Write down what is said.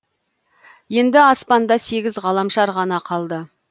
енді аспанда сегіз ғаламшар ғана қалды